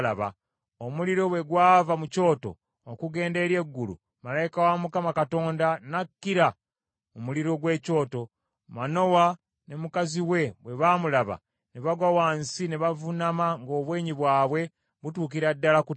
Omuliro bwe gwava mu Kyoto okugenda eri eggulu, malayika wa Mukama Katonda n’akkira mu muliro gw’ekyoto. Manowa ne mukazi we bwe baamulaba, ne bagwa wansi ne bavuunama ng’obwenyi bwabwe butuukira ddala ku ttaka.